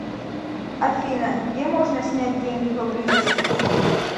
афина где можно снять деньги поблизости